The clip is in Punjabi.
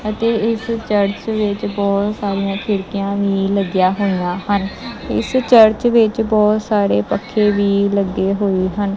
ਅਤੇ ਇਸ ਚਰਚ ਵਿੱਚ ਬਹੁਤ ਸਾਰੀਆਂ ਖਿੜਕੀਆਂ ਵੀ ਲੱਗਿਆਂ ਹੋਈਆਂ ਹਨ ਇਸ ਚਰਚ ਵਿੱਚ ਬਹੁਤ ਸਾਰੇ ਪੱਖੇ ਵੀ ਲੱਗੇ ਹੋਏ ਹਨ।